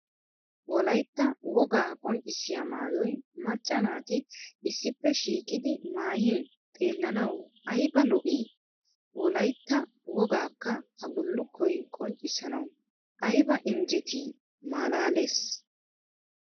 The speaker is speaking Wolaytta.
Wolayitta wogaa qonccissiya mayyoy macca naati issippe shiiqidi mayyin xeellanawu ayiba lo'i? Wolayitta wogaakka ha bullukkoy qonccissanawu ayiba injjetii! Malaales!